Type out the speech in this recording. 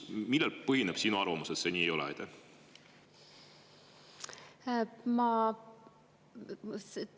Millel põhineb sinu arvamus, et see nii ei ole?